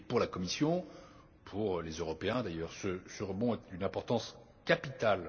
Pour la Commission, et pour les Européens d'ailleurs, ce rebond est d'une importance capitale.